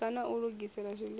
bika na u lugisela zwiḽiwa